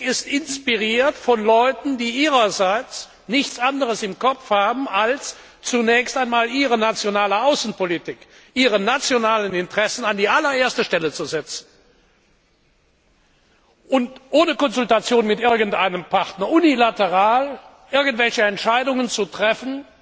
Die Kritik ist inspiriert von Leuten, die ihrerseits nichts anderes im Kopf haben, als zunächst einmal ihre nationale Außenpolitik, ihre nationalen Interessen an die allererste Stelle zu setzen und ohne Konsultation mit irgendeinem Partner unilateral irgendwelche Entscheidungen zu treffen,